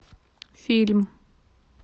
фильм